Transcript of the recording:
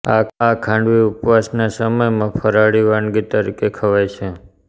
આ ખાંડવી ઉપવાસના સમયમાં ફરાળી વાનગી તરીકે ખવાય છે